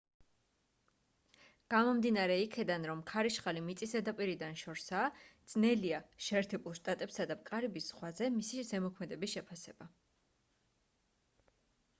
გამომდინარე იქედან რომ ქარიშხალი მიწის ზედაპირიდან შორსაა ძნელია შეერთებულ შტატებსა და კარიბის ზღვაზე მისი ზემოქმედების შეფასება